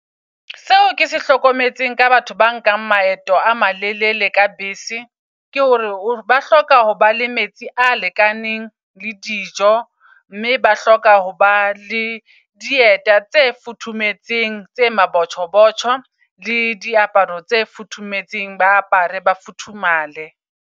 Seo ke se hlokometseng ka batho ba nkang maeto a malelele ka bese, ke hore ba hloka hoba le metsi a lekaneng le dijo. Mme ba hloka ho ba le dieta tse futhumetseng tse mabotjho botjho le diaparo tse futhumetseng. Ba apare ba futhumale.